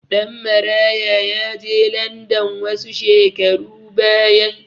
Ɗanmaraya ya je landan wasu shekaru baya.